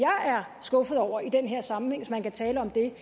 er skuffet over i den her sammenhæng hvis man kan tale om det